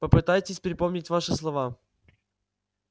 попытайтесь припомнить ваши слова